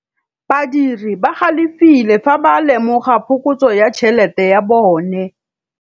Badiri ba galefile fa ba lemoga phokotsô ya tšhelête ya bone.